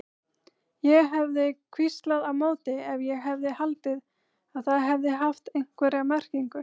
Ég hefði hvíslað á móti ef ég hefði haldið að það hefði haft einhverja merkingu.